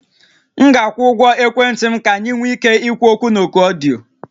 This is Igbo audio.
M ga-akwụ ụgwọ ekwentị m ka anyị nwee ike ikwu okwu na oku ọdịyo